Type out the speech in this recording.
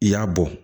I y'a bɔ